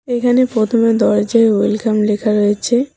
এখানে প্রথমে দরজায় ওয়েলকাম লেখা রয়েছে।